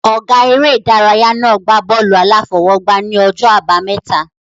Ọ̀gá eré ìdárayá náà gbá bọ́ọ̀lù-aláfọwọ́gbá ní ọjọ́ àbámẹ́ta